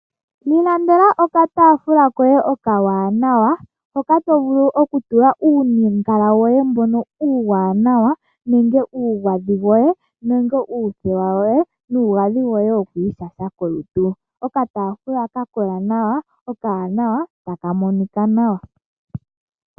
Ilandela okataafula koye okawanawa, hoka to vulu okutula uungala woyw mbono uuwanawa, nenge omagadhi goye, nenge oothewa dhoye nomagadhi goye gokwiishasha kolutu. Okataafula ka kola nawa, okawanawa, taka monika nawa.